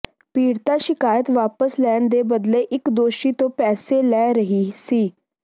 ਪੀੜਤਾ ਸ਼ਿਕਾਇਤ ਵਾਪਸ ਲੈਣ ਦੇ ਬਦਲੇ ਇਕ ਦੋਸ਼ੀ ਤੋਂ ਪੈਸੇ ਲੈ ਰਹੀ ਸੀ